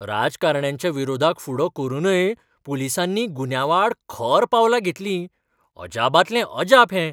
राजकारण्यांच्या विरोधाक फुडो करूनय पुलीसांनी गुन्यांवाआड खर पावलां घेतलीं! अजापांतलें अजाप हें!